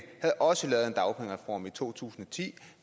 havde også lavet en dagpengereform i to tusind og ti